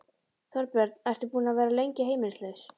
Þorbjörn: Ertu búinn að vera lengi heimilislaus?